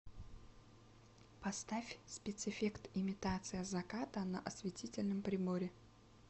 поставь спецэффект имитация заката на осветительном приборе